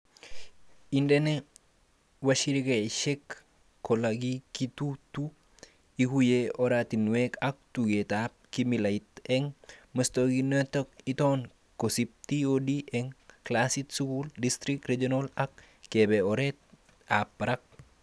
Indenee washirikaishek kolekititu; ikuye oratinwek ak tugukab kimilait eng muswoknotet-iton kasitab TOD eng klasit, skul, district, regional ak kebe ertab barak